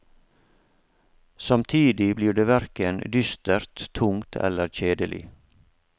Samtidig blir det hverken dystert, tungt eller kjedelig.